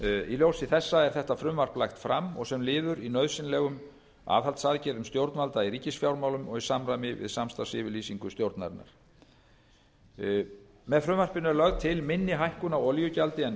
í ljósi þess er frumvarp þetta lagt fram sem liður í nauðsynlegum aðhaldsaðgerðum stjórnvalda í ríkisfjármálum og í samræmi við samstarfsyfirlýsingu ríkisstjórnarinnar með frumvarpinu er lögð til minni hækkun á olíugjaldi en